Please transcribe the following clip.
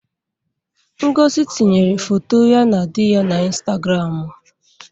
Ngozi tinyere foto ya na di ya n'Ịnstagramụ.